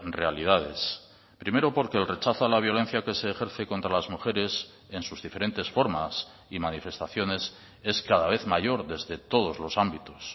realidades primero porque el rechazo a la violencia que se ejerce contra las mujeres en sus diferentes formas y manifestaciones es cada vez mayor desde todos los ámbitos